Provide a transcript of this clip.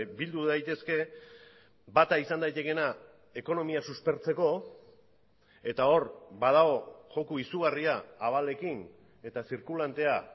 bildu daitezke bata izan daitekeena ekonomia suspertzeko eta hor badago joko izugarria abalekin eta zirkulantea